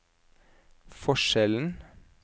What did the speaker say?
forskjellen